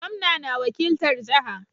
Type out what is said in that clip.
Gomnan na wakiltar jaha